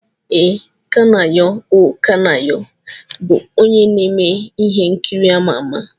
Ee, Kanayo O Kanayo bụ onye na-eme ihe nkiri ama ama.